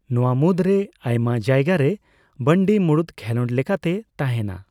ᱱᱚᱣᱟ ᱢᱩᱫᱽᱨᱮ ᱟᱭᱢᱟ ᱡᱟᱭᱜᱟᱨᱮ ᱵᱟᱱᱰᱤ ᱢᱩᱲᱩᱫ ᱠᱷᱮᱞᱳᱸᱰ ᱞᱮᱠᱟᱛᱮ ᱛᱟᱦᱮᱸᱱᱟ ᱾